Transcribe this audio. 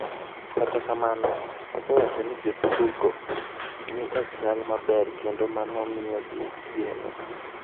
Kata kamano, osewacho ni jotuwogo ni e chal maber kendo mano miyogi geno.